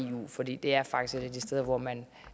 eu for det det er faktisk et af de steder hvor man